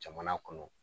Jamana kɔnɔ